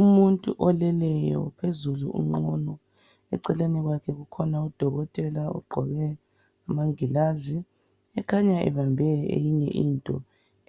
Umuntu oleleyo phezulu unqunu eceleni kwakhe kukhona udokotela ogqoke amangilazi ekhanya ebambe eyinye into